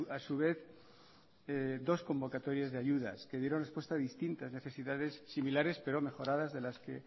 a su vez dos convocatorias de ayudas que dieron respuesta distinta a necesidades similares pero mejoradas de las que